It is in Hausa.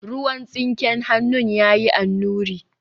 ruwan tsinken hannun ya yi annuri